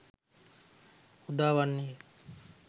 උදා වන්නේය.